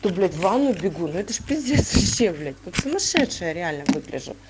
то блять в ванную бегу ну это ж пиздец вообще блять как сумасшедшая реально выгляжу